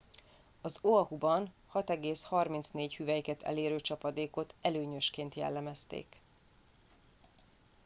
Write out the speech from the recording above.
"az oahuban 6,34 hüvelyket elérő csapadékot "előnyösként" jellemezték.